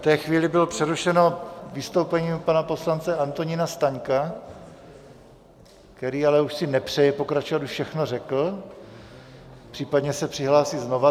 V té chvíli bylo přerušeno vystoupení pana poslance Antonína Staňka, který ale už si nepřeje pokračovat, už všechno řekl, případně se přihlásí znova.